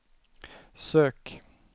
sök